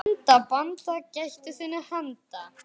Vanda, banda, gættu þinna handa.